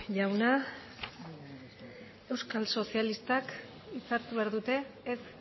jauna euskal sozialistak hitza hartu behar dute ez